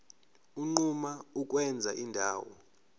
unquma ukwenza indawo